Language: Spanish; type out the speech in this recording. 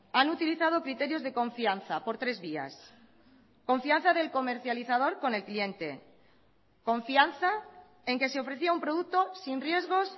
han utilizado criterios de confianza por tres vías confianza del comercializador con el cliente confianza en que se ofrecía un producto sin riesgos